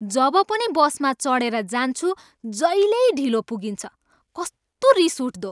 जब पनि बसमा चढेर जान्छु, जहिल्यै ढिलो पुगिन्छ, कस्तो रिस उठ्दो!